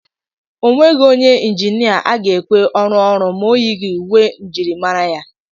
Onweghị onye injinia a ga-ekwe ọrụọ ọrụ ma oyighi uwe njirimara ya.